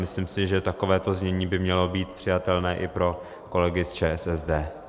Myslím si, že takovéto znění by mělo být přijatelné i pro kolegy z ČSSD.